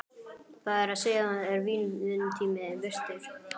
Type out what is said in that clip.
Það er að segja, er vinnutími virtur?